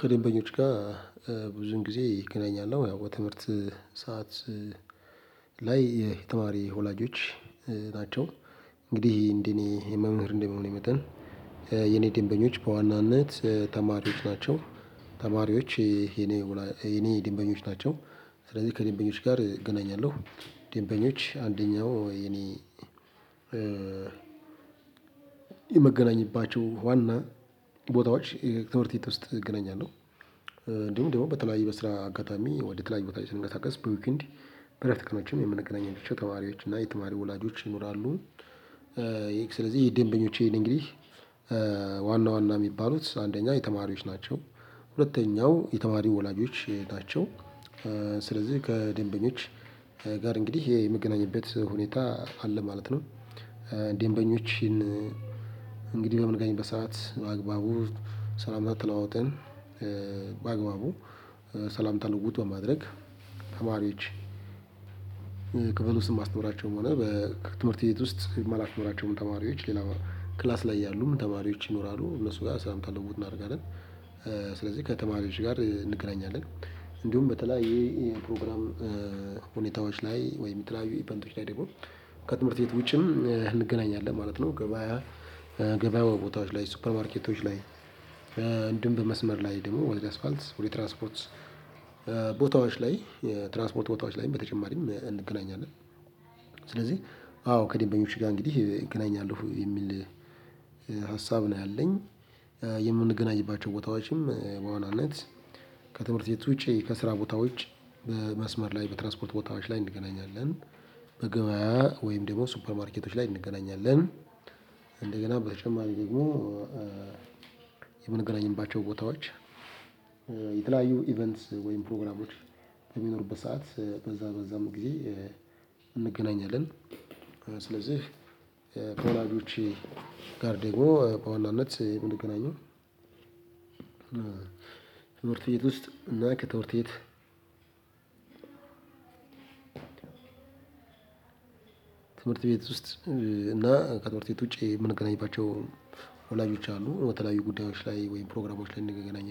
ከደንበኞች ጋር ብዙን ጊዜ እገናኛለሁ ያው በትምህርት ሰዓት ላይ የተማሪ ወላጆች ናቸው። እንግዲህ እንደኔ መምህር እንደመሆኔ መጠን የኔ ደንበኞች በዋናነት ተማሪዎች ናቸው። ተማሪዎች የኔ ደንበኞች ናቸው። ስለዚህ ከደንበኞች ጋር እገናኛለሁ ደንበኞች አንደኛው የኔ የምገናኝባቸው ዋና ቦታዎች የትምህርት ቤት ውስጥ እገናኛለሁ። እንዲሁም ደግሞ በተለያዩ በስራ አጋጣሚ ወደ ተለያዩ ቦታ ስንቀሳቀስ በዩኬንድ በረፍት ቀናችን የምንገናኛቸው ተማሪዎች እና የተማሪ ወላጆች ይኖራሉ። ስለዚህ ይሄ ደንበኞቼ እንግዲህ ዋና ዋና የሚባሉት አንደኛ የተማሪዎች ናቸው። ሁለተኛው የተማሪ ወላጆች ናቸው። ስለዚህ ከደንበኞች ጋር እንግዲህ የምገናኝበት ሁኔታ አለ ማለት ነው። ደንበኞችን እንግዲህ በምንገናኝበት ሰዓት በአግባቡ ሰላምታ ተለዋውጠን በአግባቡ ሰላምታ ልውውጡ በማድረግ ተማሪዎች ክፍል ውስጥ ማስተምራቸውም ሆነ ከትምህርት ቤት ውስጥ ማላስተምራቸው ተማሪዎች ሌላ ክላስ ላይ ያሉ ተማሪዎች ይኖራሉ እነሱ ጋር ሰላም ልውውጥ እናደርጋለን። ስለዚህ ከተማሪዎች ጋር እንገናኛለን እንዲሁም በተለያየ ፕሮግራም ላይ ወይም የሚተላያዩ ኢቨንቶች ላይ ደግሞ ከትምህርት ቤት ውጪም እንገናኛለን ማለት ነው። ገበያ ገበያ ቦታዎች ላይ ሱፐር ማርኬቶች ላይ እንዲሁም በመስመር ላይ ደግሞ ወደ አስፓልት ወደ ትራንስፖርት ቦታዎች ላይ ትራንስፖርት ቦታዎች ላይም በተጨማሪም እንገናኛለን። ስለዚህ አዎ ከደንበኞች ጋር እንግዲህ እገናኛለሁ የሚል ሀሳብ ነው ያለኝ። የምንገናኝባቸው ቦታዎችም በዋናነት ከትምህርት ውጪ ከስራ ቦታዎች በመስመር ላይ በትራስፖርት ቦታዎች ላይ እንገናኛለን። በገበያ ወይም ደግሞ ሱፐር ማርኬቶች ላይ እንገናኛለን እንደገና በተጨማሪ ደግሞ የምንገናኝባቸው ቦታዎች የተለያዩ ኢቨንት ወይም ፕሮግራሞች በሚኖሩበት ሰዓት በዛ በዛም ጊዜ እንገናኛለን። ስለዚህ ከወላጆቼ ጋር ደግሞ በዋናነት የምንገናኝ ትምህርት ቤት ውስጥ እና ከትምህርት ቤት። ትምህርት ቤት ውስጥ እና ከትምህርት ቤት ውጪ የምንገናኝባቸው ወላጆች አሉ። በተለያዩ ጉዳዮች ላይ ወይም ፕሮግራማዎች ላይ እንድንገናኝ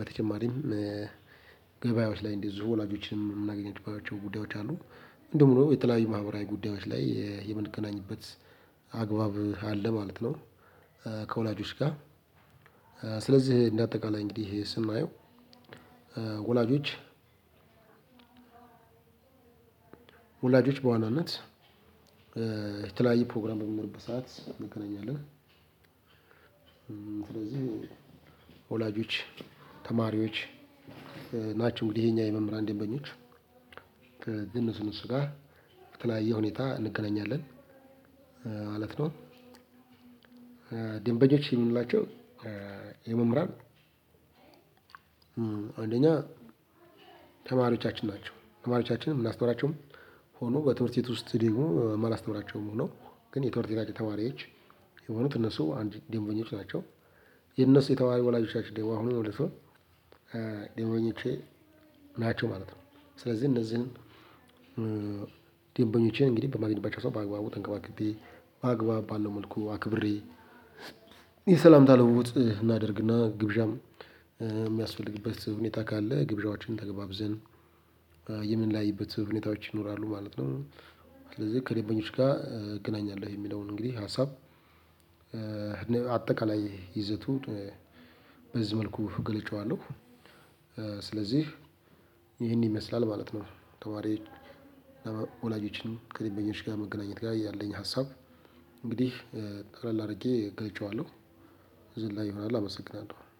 በተጨማሪም ገበያዎች ላይ እንደዚሁ ወላጆችን የምናገኝባቸው ጉዳዮች አሉ። እንደውም የተለያዩ ማህበራዊ ጉዳዮች ላይ የምንገናኝበት አግባብ አለ ማለት ነው። ከወላጆች ጋር ስለዚህ እንደ አጠቃላይ እንግዲህ ስናየው ወላጆች ወላጆች በዋናነት የተለያየ ፕሮግራም በሚኖርበት ሰዓት እንገናኛለን። ስለዚህ ወላጆች ተማሪዎች ናቸው እንግዲህ የኛ የመምህራን ደንበኞች። ከነሱ እነሱ ጋር በተለያየ ሁኔታ እንገናኛለን ማለት ነው። ደንበኞች የምንላቸው የመምህራን አንደኛ ተማሪዎቻችን ናቸው ተማሪዎቻችንም ምናስተምራቸውም ሆኖ በትምህርት ቤት ውስጥ ደግሞ ማላስተምራቸውም ሆኖ ግን የትምህርት ቤታችን ተማሪዎች የሆኑት እነሱ አንድ ደንበኞች ናቸው። የነሱ የተማሪ ወላጆቻችን ደሞ አሁኑን ወደ ሰው ደንበኞቼ ናቸው ማለት ነው። ስለዚህ እነዚህን ደንበኞቼን እንግዲህ በማግኘት በሰው በአግባቡ ተንከባክቤ በአግባብ ባለው መልኩ አክብሬ የሰላምታ ልውውጥ እናደርግና ግብዣም የሚያስፈልግበት ሁኔታ ካለ ግብዣዎቻችንን ተገባብዘን የምንለያይበት ሁኔታዎች ይኖራሉ ማለት ነው። ስለዚህ ከደንበኞች ጋር እገናኛለሁ የሚለውን እንግዲህ ሀሳብ አጠቃላይ ይዘቱ በዚህ መልኩ ገልጨዋለሁ። ስለዚህ ይሄን ይመስላል ማለት ነው። ተማሪ ወላጆችን ከደንበኞች ጋር መገናኘት ጋር ያለኝ ሀሳብ እንግዲህ ጠቅለል አድርጌ ገልጬዋለሁ። እዚህ ይሆናል አመሰግናለሁ